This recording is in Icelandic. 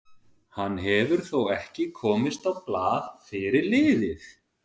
Hann hefur þó ekki komist á blað fyrir liðið.